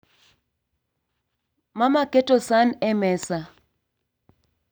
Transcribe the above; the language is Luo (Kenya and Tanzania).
Mama keto san e mesa